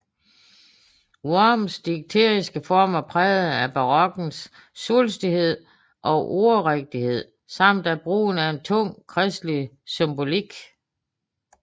Worms digteriske form var præget af barokkens svulstighed og ordrighed samt af brugen af en tung kristelig symbolik